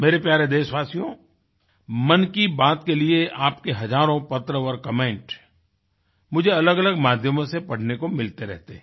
मेरे प्यारे देशवासियो मन की बात के लिए आपके हजारों पत्र और कमेंट मुझे अलगअलग माध्यमों से पढ़ने को मिलते रहते हैं